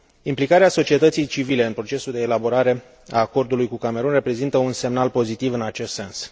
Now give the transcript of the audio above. Implicarea societății civile în procesul de elaborare a acordului cu Camerun reprezintă un semnal pozitiv în acest sens.